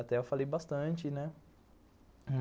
Até eu falei bastante, né?